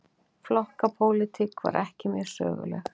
Flokkapólitík var ekki mjög söguleg.